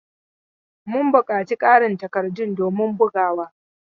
Mun buƙaci ƙarin takardun domin bugawa.